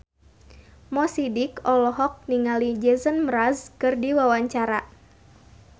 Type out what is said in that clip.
Mo Sidik olohok ningali Jason Mraz keur diwawancara